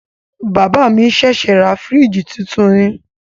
Bàbá mi ṣẹ̀ṣẹ̀ ra fìríjìì titun ni.